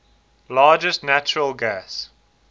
largest natural gas